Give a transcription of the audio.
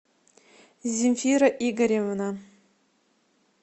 земфира игоревна